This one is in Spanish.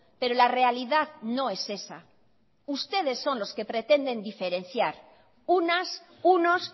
pero la realidad no es esa ustedes son los que pretenden diferenciar unas unos